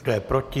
Kdo je proti?